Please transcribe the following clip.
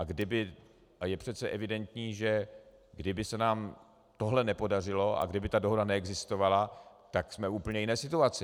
A je přece evidentní, že kdyby se nám tohle nepodařilo a kdyby ta dohoda neexistovala, tak jsme v úplně jiné situaci.